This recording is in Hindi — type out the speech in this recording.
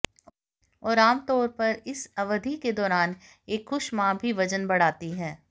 और आमतौर पर इस अवधि के दौरान एक खुश मां भी वजन बढ़ाती है